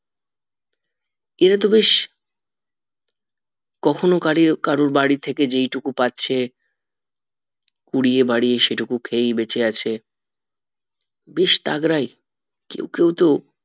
ের তো বেশ কখনো কাউরির বাড়ি থেকে যেইটুকু পাচ্ছে কুড়িয়ে বাড়িয়ে সেই টুকু খেয়েই বেঁচে আছে বেশ তাগড়াই কেউ কিন্তু